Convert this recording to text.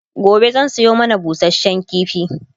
gobe zan Sayo mana busashen kifi